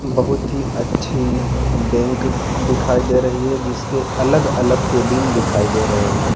बहुत ही अच्छी बैंक दिखाई दे रही है जिसके अलग-अलग केबिन दिखाई दे रहे हैं।